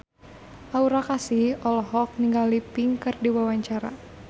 Aura Kasih olohok ningali Pink keur diwawancara